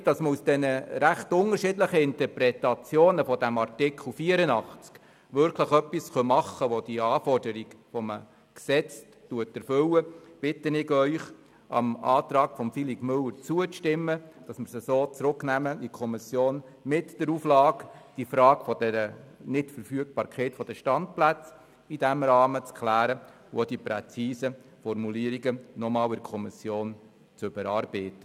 Damit man aus diesen recht unterschiedlichen Interpretationen dieses Artikels 84 wirklich etwas machen kann, was die gestellten Anforderungen erfüllt, bitte ich Sie, dem Antrag von Grossrat Müller zuzustimmen und den Artikel in die Kommission zurückzugeben mit der Auflage, die Frage der Nichtverfügbarkeit von Standplätzen in diesem Rahmen zu klären und hinsichtlich präziser Formulierungen nochmals zu überarbeiten.